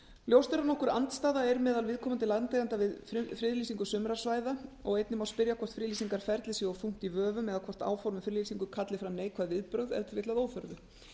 ljóst er að nokkur andstaða er meðal viðkomandi landeigenda við friðlýsingu sumra svæða og einnig má spyrja hvort friðlýsingarferlið sé of þungt í vöfum eða hvort áform um friðlýsingu kalli fram neikvæð viðbrögð ef til vill að óþörfu